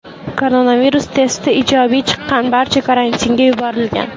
Koronavirus testi ijobiy chiqqan barcha karantinga yuborilgan.